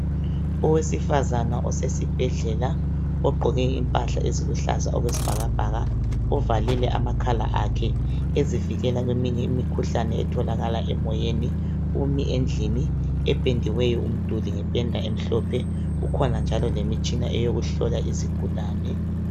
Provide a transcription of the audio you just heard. Owesifazana osesibhedlela ogqoke impahla eziluhlaza okwesibhakabhaka uvalile amakhala akhe ukuzivikela kweminye imikhuhlane etholakala emoyeni umi endlini ependiweyo umduli ngependa emhlophe kukhona njalo lemitshina eyokuhlola izigulane.